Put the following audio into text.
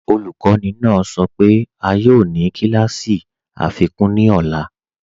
Ọlukọni naa sọ pe a yoo ni kílàsí afikun ní ọ̀là.